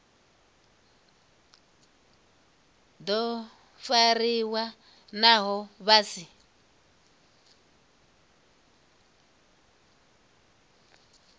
do fariwa naho vha si